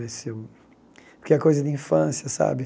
Ver se eu porque é coisa de infância, sabe?